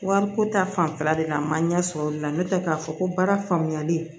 Wariko ta fanfɛla de la a ma ɲɛ sɔrɔ olu la n'o tɛ k'a fɔ ko baara faamuyali